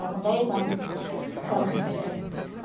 Está com dez anos que ele faleceu já